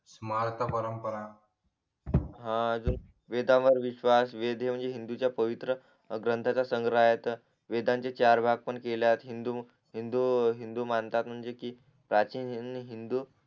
smart परंपरा हा अजून वेदांवर विश्वास वेद हा हिंदूंचा पवित्र ग्रंथचा संग्रह आहे तर वेदांचे चार भाग पण केले आहेत हिंदू हिंदू हिंदू मानतात म्हणजे कि प्राचीनहीन हिंदू